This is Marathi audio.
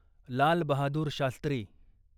लाल बहादूर शास्त्री